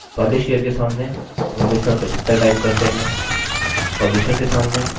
publishyear के सामने 1975 type करते हैं